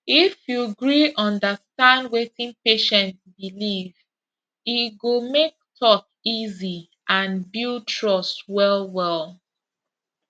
if you gree understand wetin patient believe e go make talk easy and build trust wellwell